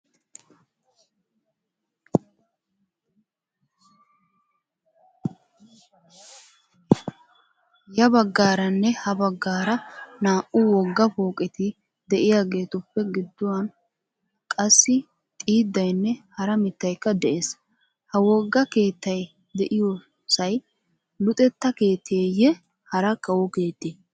Ya baggaaranne ha baggaara naa"u wogga pooqeti de"iyaageetuppe gidduwan qassi xiiddaynne hara mittaykka de'ees. Ha wogga keettay de"iyoosay luxetta keettayiye hara kawo keettee?